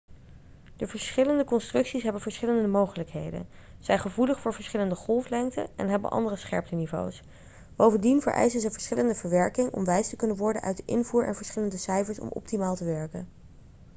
de verschillende constructies hebben verschillende mogelijkheden zijn gevoelig voor verschillende golflengten en hebben andere scherpteniveaus bovendien vereisen ze verschillende verwerking om wijs te kunnen worden uit de invoer en verschillende cijfers om optimaal te werken